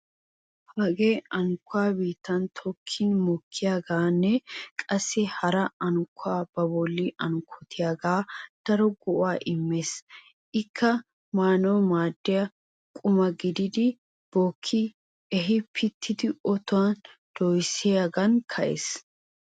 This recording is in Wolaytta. Hagee unkkuwa biittan tokkin mokkiyogan qassi hara unkkuwa ba bolli unkkotiyogan daro go'aa immees. Ikka maanawu maaddiya quma gidiiddi bookki ehi piitidi otuwan doyssiyogan ka'ees.